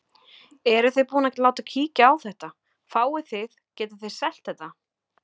Eruð þið búin að láta kíkja á þetta, fáið þið, getið þið selt þetta?